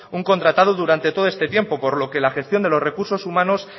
un contratado durante todo este tiempo por lo que la gestión de los recursos humanos